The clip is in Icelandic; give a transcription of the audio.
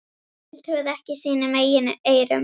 Emil trúði ekki sínum eigin eyrum.